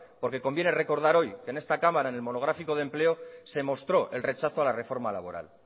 porque conviene recordar hoy que en esta cámara en el monográfico de empleo se mostró el rechazo a la reforma laboral